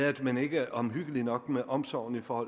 at man ikke er omhyggelig nok med omsorgen for